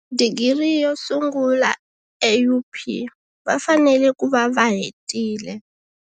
Digiri yo sungula eUP va fanele ku va va hetile.